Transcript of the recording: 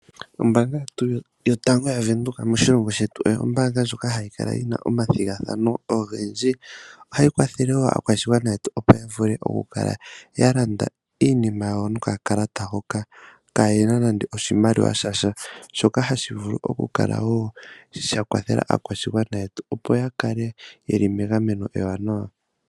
Ombaanga yetu ya Venduka moshilongo shetu oyo ombaanga ndjoka hayi kala yina omathigathano ogendji. Ohayi kwathele woo aakwashigwana yetu opo yakale ya landa iinima yawo noka kalata hoka kaayena nande oshimaliwa shasha. Shoka hashi vulu oku kala woo sha kwathela aakwashigwana yetu opo ya kale yeli megameno ewanawa.